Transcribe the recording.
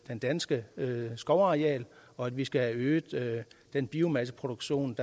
danske skovareal og at vi skal have øget den biomasseproduktion